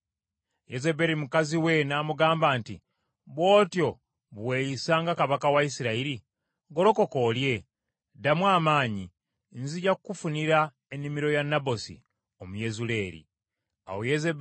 Yezeberi mukazi we n’amugamba nti, “Bw’otyo bwe weeyisa nga kabaka wa Isirayiri? Golokoka olye! Ddamu amaanyi. Nzija kukufunira ennimiro ya Nabosi Omuyezuleeri ey’emizabbibu.”